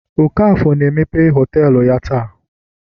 okafor na emepe họtelu ya taa